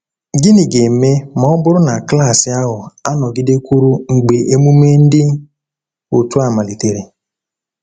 Gịnị ga-eme ma ọ bụrụ na klaasị ahụ anọgidekwuru mgbe emume dị otu a malitere?